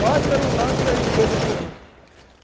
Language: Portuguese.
Nós para um lado e as empresas para o outro.